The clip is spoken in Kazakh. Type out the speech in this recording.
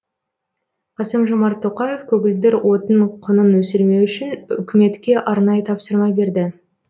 қасым жомарт тоқаев көгілдір отын құнын өсірмеу үшін үкіметке арнайы тапсырма берді